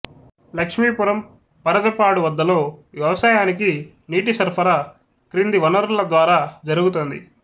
లక్ష్మీపురం పరజపాడు వద్దలో వ్యవసాయానికి నీటి సరఫరా కింది వనరుల ద్వారా జరుగుతోంది